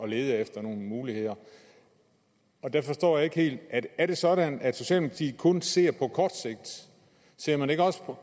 lede efter nogle muligheder og jeg forstår det ikke helt men er det sådan at socialdemokratiet kun ser på kort sigt